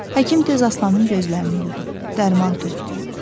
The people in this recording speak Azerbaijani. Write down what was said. Həkim tez Aslanın gözlərini yudu, dərman tökdü.